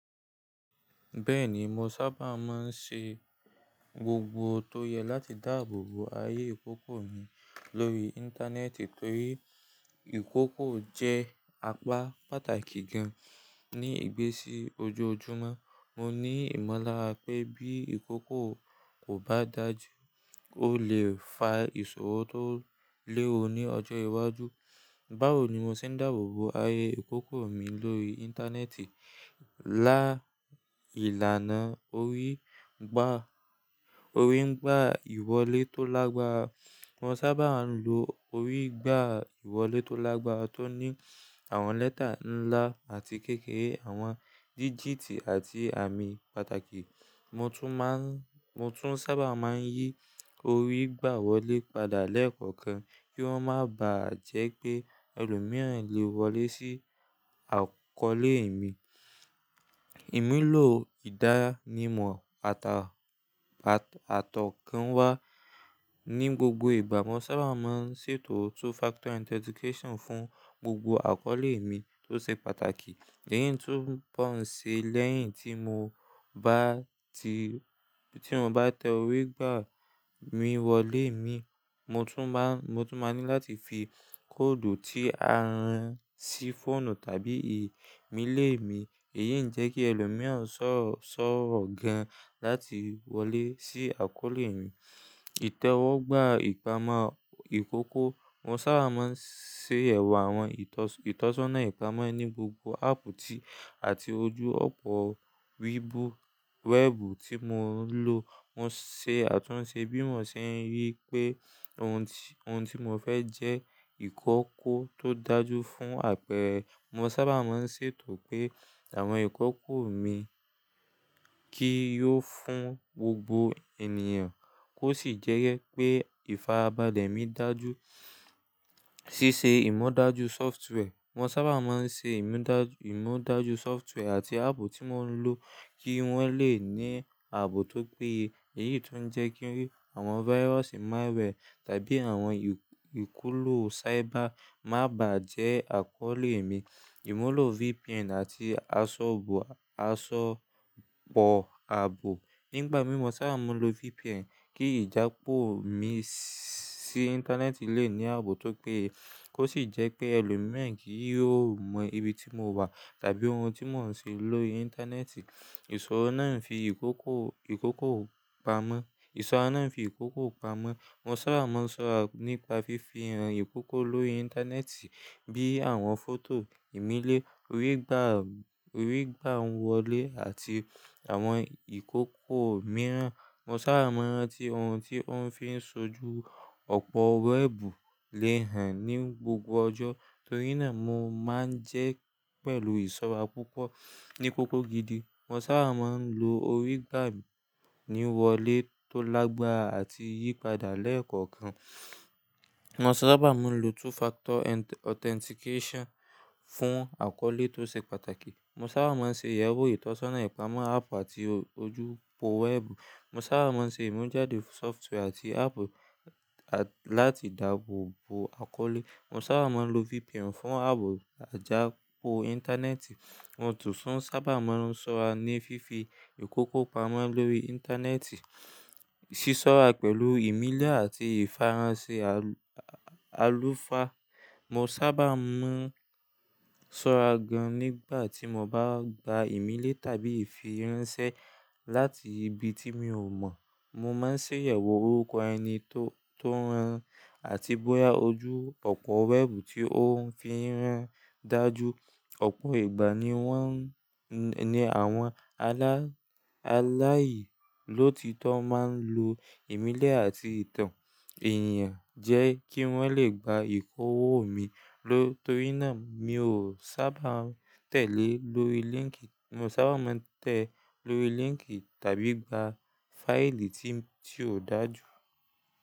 Bẹ́ẹ̀ni, mo sábà máa ń ṣe gbogbo tó yẹ láti dáàbò bo ayé ìkókó mi lórí Íńtánẹ́ẹ̀tì torí ìkókó jẹ́ apá pàtàkì gan ní ìgbésí ojoojúmọ́. Mo ní ìmọ̀lára pé bí ìkókó kò bá dàjú, ó lè fa ìṣòro tó léwu ní ọjọ́ iwájú. Báwo ni mo ṣe ń dáàbò bo ayé ìkókó mi lórí Íńtánẹ́ẹ̀tì? Lá ìlànà orí gbà, orí gbà ìwọlé tó lágbára, mo sábà ń lo orí gbà ìwọlé tó lágbára tó ní àwọn lẹ́tà ńlá àti kékeré, àwọn dígíítì àti àmì pàtàkì. Mo tún má ń, mo tún sábà má ń yí orí gbà wọlé padà lẹ́ẹ̀kọ̀kan kí wọ́n má bàá jẹ́ pé ẹlòmíràn lè wọlé sí àkọ́lé mi. Ìmúlò ìdánimọ̀ àtà a àtàkọ́ ń wá ní gbogbo ìgbà. Mo sábà má ń ṣètò two-factor authentication fún gbogbo àkọ́lé mi tó ṣe pàtàkì. Èyí tó pọ̀n ṣe lẹ́yìn tí mo bá ti, tí mo bá tẹ orí gbà mi wọlé mi, mo tún má ń, mo tún máa ní láti fi kóòdù tí a rán sí fóònù tàbí ìmi lé mi. Èyí ń jẹ́ kí ẹlòmíràn ṣọ̀rọ̀, ṣọ̀rọ̀ gan láti wọlé sí àkọ́lé mi. E Ítẹ́wọ́gbà ìpamọ́ ìkókó. Mo sábà má ń ṣe ẹ̀wà àwọn ìtọ́sọ́nà ìpamọ́ ní gbogbo áàpù tí, àti ojú òpó wíìbù, wẹ́ẹ̀bù tí mo ń lo. Mo ṣe àtúnṣe bí mò ṣe rí pé òun tí, òun tí mò fẹ́ jẹ́ ìkókó tó dájú fún àpẹẹrẹ. Mo sábà má ń ṣètò pé àwọn ìkókó mi kí yo fún gbogbo ènìyàn kó sì jẹ́ pé ìfarabalẹ̀ mi dàjú. Sísé ìmọ̀ dájú sọfútùwẹ̀. Mo sábà má ń ṣe ìmu dá, ìmu dájú sọfútùwẹ̀ àti áàpù tí mò ń lo kí wọ́n lè ní ààbò tó péye. Èyí tun ń jẹ́ kí àwọn fáírusi malware tàbí àwọn ìkùlù cyber má bàá jẹ́ àkọ́lé mi. Ìmúlò VPN àti asọ̀bọ̀, asọ̀bọ̀ ààbò. Nígbà mìí mo sábà máa ń lo VPN kí ìjà pó mi sí Íńtánẹ́ẹ̀tì lè ní ààbò tó péye kó sì jẹ́ pé ẹlòmíi kì yóò mọ ibi tí mo wà tàbí ohun tí mò ń ṣe lórí Íńtánẹ́ẹ̀tì. Ìṣòro náà ń fi ìkókó, ìkókó pamọ́. Ìṣòro náà ń fi ìkókó pamọ́. Mo sábà máa ń ṣọ́ra nípa fífi ìran ìkókó lórí Íńtánẹ́ẹ̀tì bíi àwọn fótò ìmílé, orí gbà, orí gbà ń wọlé àti àwọn ìkókó mìíràn. Mo sábà máa ń rántí ohun tí ó ń fi ń ṣojú ọ̀pọ̀ wẹ́ẹ̀bù lè hàn ní gbogbo ọjọ́ torí náà mo má ń jẹ́ pẹ̀lú ìsọ́ra púpọ̀ ní kókó gidi. Mo sábà má ń lo orí gbà mi ní wọlé tó lágbára àti yí padà lẹ́ẹ̀kọ̀kan. Mo sábà má ń lo two-factor authentication fún àkọ́lé tó ṣe pàtàkì. Mo sábà má ń ṣe ìyẹ̀wò ìtọ́sọ́nà ìpamọ́ áàpù àti ojú òpó wẹ́ẹ̀bù. Mo sábà má ń ṣe ìmu dájú sọfútùwẹ̀ àti áàpù láti dàbò bo àkọ́lé. Mo sábà máa ń lo VPN fún ààbò àjà pó Íńtánẹ́ẹ̀tì. Mo tún sábà máa ń ṣọ́ra ní fífi ìkókó pamọ́ lórí Íńtánẹ́ẹ̀tì. Sísọ́ra pẹ̀lú ìmílẹ́ àti ìfaransẹ́ àlùfáà. Mo sábà má ń ṣọ́ra gan nígbà tí mo bá gba ìmílẹ́ tàbí ìfiránsẹ́ láti ibi tí mi ò mọ̀. Mo má ń ṣe ìyẹ̀wò orúkọ ẹni tó, tó rán àti bóyá ojú òpó wẹ́ẹ̀bù tí ó ń fi rán dàjú. Ọ̀pọ̀ ìgbà ni wọ́n, ni àwọn aláààyè ló ti tó máa ń lo ìmílẹ́ àti ìtàn èèyàn jẹ́ kí wọ́n lè gba ìkówó mi ló torí náà mi ò sábà tẹ̀lé lórí líńkì, mo sábà máa ń tẹ lórí líńkì tàbí gba fáìlì tí, tí ò dájú.